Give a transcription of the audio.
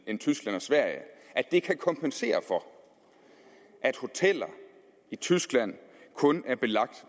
end tyskland og sverige at det kan kompensere for at hoteller i tyskland kun er belagt